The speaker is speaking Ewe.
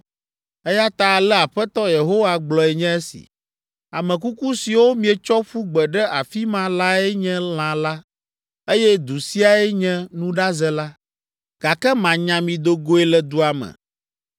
“Eya ta ale Aƒetɔ Yehowa gblɔe nye esi: ‘Ame kuku siwo mietsɔ ƒu gbe ɖe afi ma lae nye lã la, eye du siae nye nuɖaze la, gake manya mi do goe le dua me.